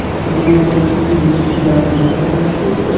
bu o‘tgan uch yilning shu davriga nisbatan ko‘pdir.